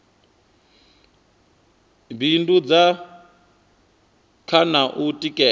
bindudza kha na u tikedza